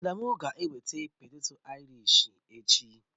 Adamu ga-eweta poteto airish echi